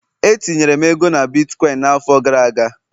etinyere m ego na bitkọịn n'afọ gara aga